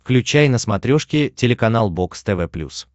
включай на смотрешке телеканал бокс тв плюс